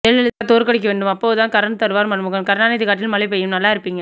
ஜெயலலிதா தோற்கவேண்டும் அப்போதுதான் கரண்ட் தருவார் மன்மோகன் கருணாநிதி காட்டில் மழை பெய்யும் நல்லா இருப்பீங்க